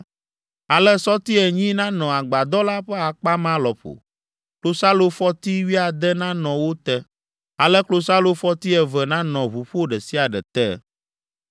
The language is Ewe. Ale sɔti enyi nanɔ agbadɔ la ƒe akpa ma lɔƒo: klosalofɔti wuiade nanɔ wo te. Ale klosalofɔti eve nanɔ ʋuƒo ɖe sia ɖe te.